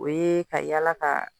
O ye ka yaala ka